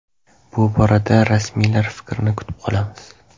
Bu borada rasmiylar fikrini kutib qolamiz.